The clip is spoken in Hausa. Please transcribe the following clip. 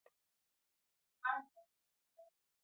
Gina kayan aikin kamar zato da guduma suna ɗaga tsari, tsari da tsara rayuwa.